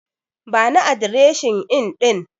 Bani adireshin Inn ɗin.